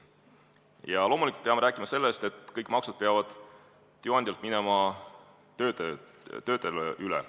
Ja loomulikult peame rääkima sellest, et kõik maksud peavad tööandjalt töötajale üle minema.